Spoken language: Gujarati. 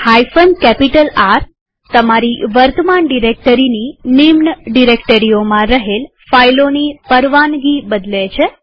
R160 તમારી વર્તમાન ડિરેક્ટરીની સબ ડિરેક્ટરીઓમાં રહેલ ફાઈલોની પરવાનગી બદલે છે